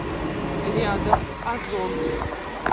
рядом озон